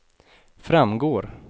framgår